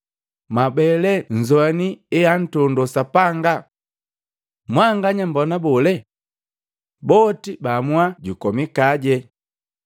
Mwabe lee nnzoini eantondo Sapanga! Mwanganya mmbona bole?” Boti baamua jukomikaje.